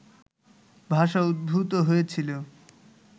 ভাষা উদ্ভূত হয়েছিল